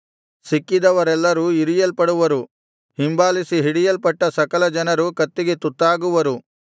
ಸಿಕ್ಕಿದವರೆಲ್ಲರು ಇರಿಯಲ್ಪಡುವರು ಹಿಂಬಾಲಿಸಿ ಹಿಡಿಯಲ್ಪಟ್ಟ ಸಕಲ ಜನರು ಕತ್ತಿಗೆ ತುತ್ತಾಗುವರು